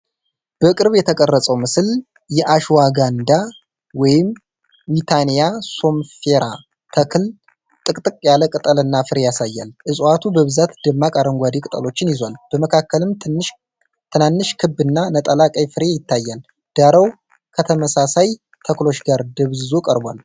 በቅርብ የተቀረጸው ምስል የአሽዋጋንዳ (ዊታኒያ ሶምኒፌራ) ተክል ጥቅጥቅ ያለ ቅጠል እና ፍሬ ያሳያል። እፅዋቱ በብዛት ደማቅ አረንጓዴ ቅጠሎችን ይዟል፤ በመካከልም ትናንሽ ክብ እና ነጠላ ቀይ ፍሬ ይታያል። ዳራው ከተመሳሳይ ተክሎች ጋር ደብዝዞ ቀርቧል።